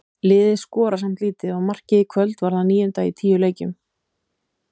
Liðið skorar samt lítið og markið í kvöld var það níunda í tíu leikjum.